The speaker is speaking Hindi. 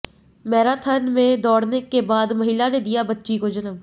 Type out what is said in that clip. मैराथन में दौडऩे के बाद महिला ने दिया बच्ची को जन्म